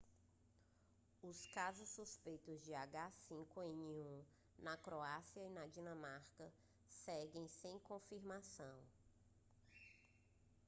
os casos suspeitos de h5n1 na croácia e na dinamarca seguem sem confirmação